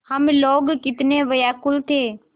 हम लोग कितने व्याकुल थे